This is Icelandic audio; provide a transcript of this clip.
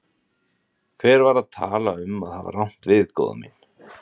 Hver var að tala um að hafa rangt við, góða mín.